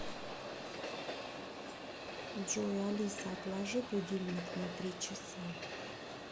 джой алиса отложи будильник на три часа